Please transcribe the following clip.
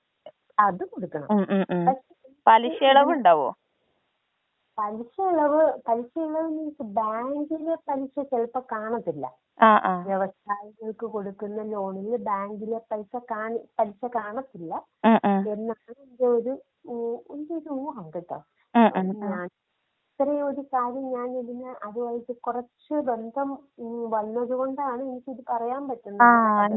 അത് കൊടുക്കണം പലിശ ഇളവ് പലിശ ന്റെ ഇപ്പൊ ബാങ്കിലെ പലിശ ചിലപ്പോ കാണത്തില്ല. വ്യവസായികൾക്ക് കൊടുക്കുന്ന ലോണിൽ ബാങ്കിലെ പലിശ കാണ പലിശ കാണത്തില്ല. എൻ്റെ ഒരു ഊഹം കേട്ടോ? *നോട്ട്‌ ക്ലിയർ* ഞാൻ ഒരു കാര്യം ഇതിനെ അതുവെച് കൊറച്ച് ബന്ധം വന്നതു കൊണ്ടാണ് എനിക്കിത് പറയാൻ പറ്റുന്നത്.